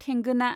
थेंगोना